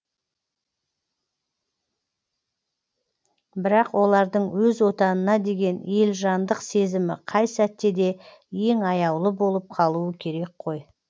бірақ олардың өз отанына деген елжандық сезімі қай сәтте де ең аяулы болып қалуы керек қой